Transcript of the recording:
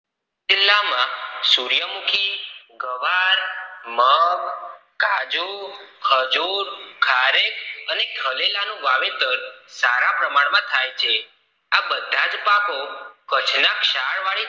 સુર્યમુખી, ગુવાર, મગ, કાજુ, ખજૂર, ખારેક અને ખરેલનું વાવેતર સારા પ્રમાણ માં થાય છે. આ બધા જ પાકો કચ્છ ના ક્ષાર વાળી